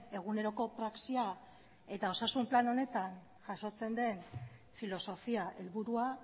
eguneroko praxia eta osasun plan honetan jasotzen den filosofia helburua